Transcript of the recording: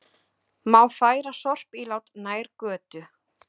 Má færa sorpílát nær götu